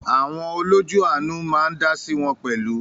Àwọn “ olójú àánú" ma á ń dáásí wọn pẹ̀lú.